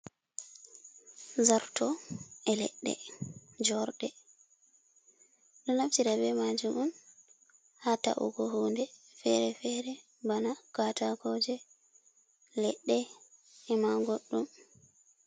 Zarto e ledde jorɗe, ɗo naftira be majum on ha ta’ugo hunde fere-fere, bana katakoje, e leɗɗe, e ma goddum.